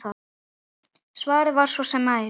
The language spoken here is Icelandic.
Svarið var að svo væri.